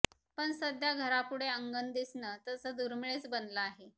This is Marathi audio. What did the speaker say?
पण सध्या घरापुढे अंगण दिसणं तसं दुर्मिळच बनलं आहे